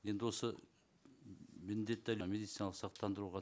енді осы міндетті медициналық сақтандыруға